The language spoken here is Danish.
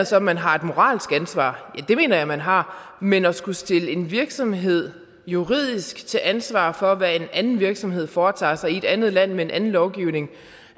så at man har et moralsk ansvar ja det mener jeg man har men at skulle stille en virksomhed juridisk til ansvar for hvad en anden virksomhed foretager sig i et andet land med en anden lovgivning